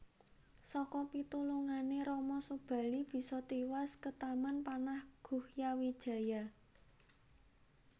Saka pitulungané Rama Subali bisa tiwas ketaman panah Guhyawijaya